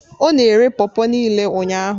Ọ na-ere pawpaw niile ụnyahụ